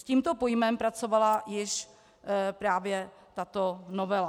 S tímto pojmem pracovala již právě tato novela.